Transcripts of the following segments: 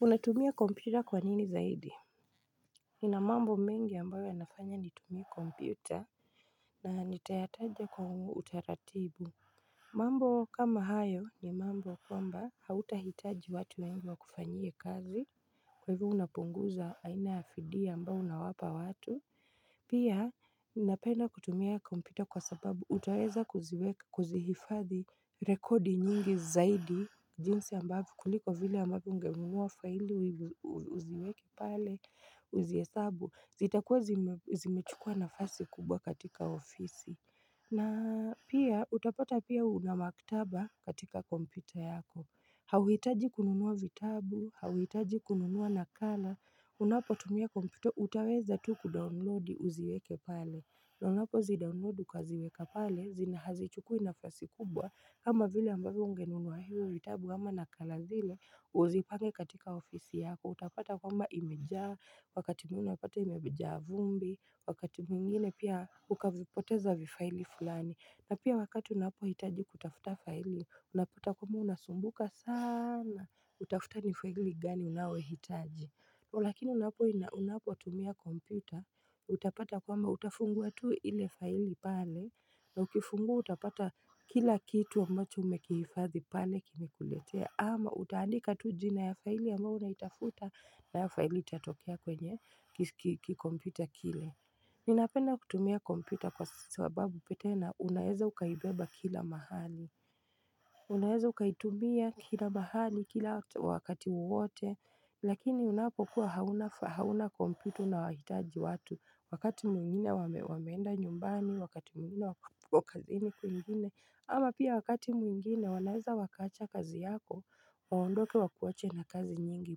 Unatumia kompyuta kwa nini zaidi Nina mambo mengi ambayo yanafanya nitumie kompyuta na nitayataja kwa utaratibu mambo kama hayo ni mambo kwamba hautahitaji watu wengi wa kufanyie kazi Kwa hivo unapunguza aina fidia ambayo unawapa watu Pia ninapenda kutumia kompyuta kwa sababu utaweza kuzihifadhi rekodi nyingi zaidi jinsi ambavo kuliko vile ambavyo unge nunuwa faili uziweke pale, uziesabu. Zitakuwa zimechukua nafasi kubwa katika ofisi. Na pia, utapata pia unamaktaba katika kompyuta yako. Hauitaji kununuwa vitabu, hauitaji kununua nakala. Unapo tumia kompyuta, utaweza tu kudownloadi uziweke pale. Na unapo zidownload ukaziweka pale, zina hazichukui nafasi kubwa. Kama vile ambavyo ungenunua hio, vitabu ama na kala zile, uzipange katika ofisi yako, utapata kwamba imejaa, wakati mwingine unapata imejaa vumbi, wakati mwingine pia ukavipoteza vifaili fulani. Na pia wakati unapo hitaji kutafuta faili, unapata kwamba unasumbuka sana, utafuta nifaili gani unayoi hitaji. Lakini unapo inaunapo tumia kompyuta, utapata kwamba utafungua tuu ile faili pale, na ukifungua utapata kila kitu ambacho umekiifadhi pale kini kuletea, ama utaandika tujina ya faili ama unaitafuta na ya faili itatokea kwenye kikompyuta kile. Ninapenda kutumia kompyuta kwa sababu pia tena unaeza ukaibeba kila mahali Unaeza ukaitumia kila mahali kila wakati wowote Lakini unapokuwa hauna kompyuta una wahitaji watu wakati mwingine wameenda nyumbani wakati mwingine wakati mwingine wakazi ni kwingine ama pia wakati mwingine wanaeza wakaacha kazi yako waondoke wakuache na kazi nyingi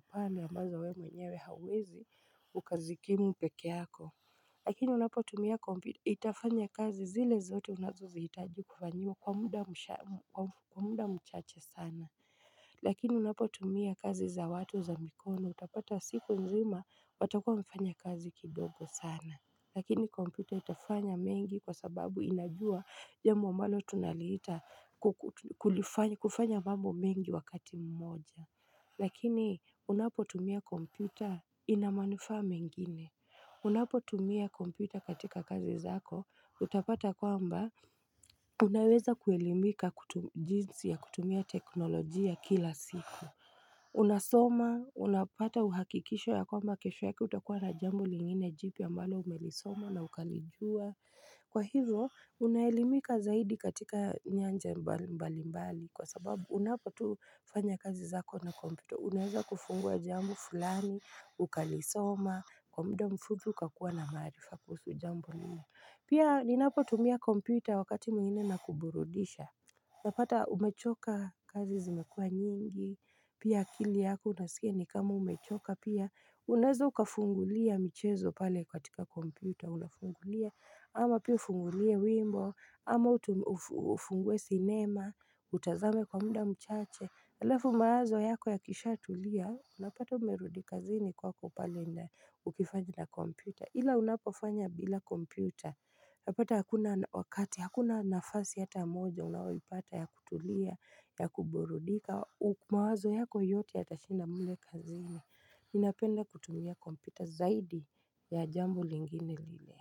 pale ambazo we mwenyewe hauwezi ukazikimu peke yako Lakini unapotumia itafanya kazi zile zote unazozi itaji kufanyiwa kwa muda mchache sana. Lakini unapotumia kazi za watu za mikono utapata siku nzima watakuwa wamefanya kazi kidogo sana. Lakini kompyuta itafanya mengi kwa sababu inajua jambo ambalo tunaliita kufanya mambo mengi wakati mmoja. Lakini unapotumia kompyuta inamanufaa mengine. Unapo tumia kompyuta katika kazi zako, utapata kwamba unaweza kuelimika jinsi ya kutumia teknolojia kila siku unasoma, unapata uhakikisho ya kwamba kesho yake utakuwa na jambo lingine jipya ambalo umelisoma na ukalijua Kwa hivyo, unaelimika zaidi katika nyanja mbali mbali mbali kwa sababu unapo tufanya kazi zako na kompyuta Unaeza kufungua jambo fulani, ukalisoma, kwa muda mfupi ukakucwa na maarifa kuhusu jambo nina Pia ninapotumia kompyuta wakati mwingine ina kuburudisha Napata umechoka kazi zimekuwa nyingi Pia akili yako unasikia ni kama umechoka pia Unaeza ukafungulia michezo pale katika kompyuta Unafungulia ama pia ufungulie wimbo ama ufungue sinema, utazame kwa muda mchache Alafu mawazo yako ya kisha tulia, unapata umerudika zini kwa pale nja ukifanya na kompyuta. Hila unapofanya bila kompyuta, napata hakuna wakati, hakuna nafasi hata moja, unayoipata ya kutulia, ya kuburudika. Mawazo yako yote ya tashinda mle kazini. Ninapenda kutumia kompyuta zaidi ya jambo lingine lile.